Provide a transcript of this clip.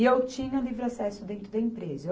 E eu tinha um livre acesso dentro da empresa.